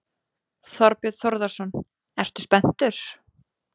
Þorbjörn Þórðarson: Ertu spenntur?